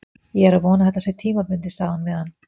Ég er að vona að þetta sé tímabundið, sagði hún við hann.